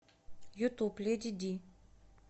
ютуб леди ди